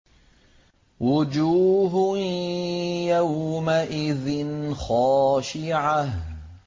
وُجُوهٌ يَوْمَئِذٍ خَاشِعَةٌ